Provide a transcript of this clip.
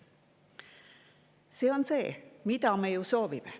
See on see, mida me ju soovime.